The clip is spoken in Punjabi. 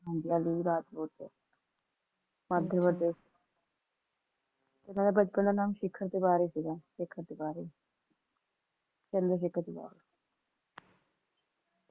ਹਾਂਜੀ ਅਲੀ ਰਾਜ ਸੀ ਮੱਧ ਪ੍ਰਦੇਸ਼ ਚ ਓਨਾ ਦੇ ਬੱਚੇ ਦਾ ਨਾਂ ਸ਼ੇਖਰ ਤਿਵਾਰੀ ਸੀਗਾ ਸ਼ੇਖਰ ਤਿਵਾਰੀ